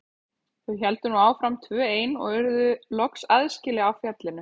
Þau héldu nú áfram tvö ein og urðu loks aðskila á fjallinu.